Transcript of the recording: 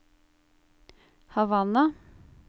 Havanna